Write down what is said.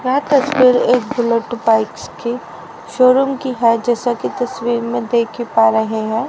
यह तस्वीर एक बुलेट बाइक्स की शो रूम की है जैसा की तस्वीर में देख ही पा रहे हैं।